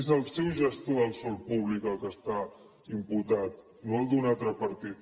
és el seu gestor del sòl públic el que està imputat no el d’un altre partit